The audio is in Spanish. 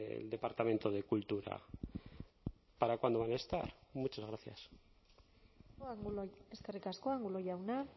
el departamento de cultura para cuándo van a estar muchas gracias eskerrik asko angulo jauna